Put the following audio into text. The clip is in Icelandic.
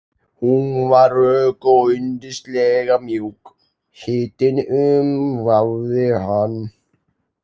Hún var rök og yndislega mjúk, hitinn umvafði hann.